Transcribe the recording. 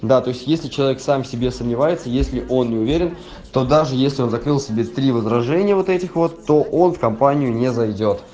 да то есть если человек сам в себе сомневается если он не уверен то даже если он закрыл себе три возражения вот этих вот то он в компанию не зайдёт